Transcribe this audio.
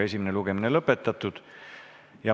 Esimene lugemine on lõpetatud.